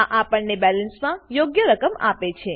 આપણને બેલેન્સમાં યોગ્ય રકમ આપે છે